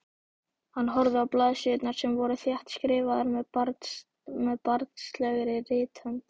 Hann horfði á blaðsíðurnar sem voru þéttskrifaðar með barnslegri rithönd.